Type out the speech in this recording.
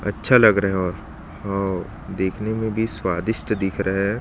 अच्छा लग रहा है और हव देखने में भी स्वादिस्ट दिख रहा है।